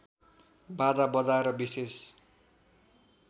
बाजा बजाएर विशेष